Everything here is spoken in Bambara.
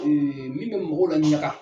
min bɛ mɔgɔw laɲaga.